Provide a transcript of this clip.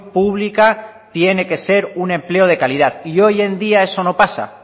pública tiene que ser un empleo de calidad y hoy en día eso no pasa